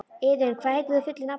Iðunn, hvað heitir þú fullu nafni?